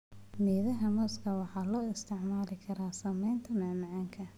Midhaha mooska waxaa loo isticmaali karaa sameynta macmacaan.